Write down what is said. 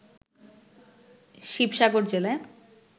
শিবসাগর জেলায়